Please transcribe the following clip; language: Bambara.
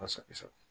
Kosɛbɛ